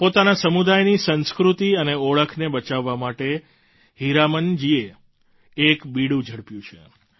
પોતાના સમુદાયની સંસ્કૃતિ અને ઓળખને બચાવવા માટે હીરામન જીએ એક બીડું ઝડપ્યું છે